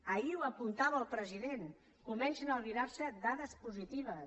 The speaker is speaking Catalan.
ahir ho apuntava el president comencen a albirarse dades positives